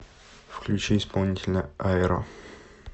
включи исполнителя айро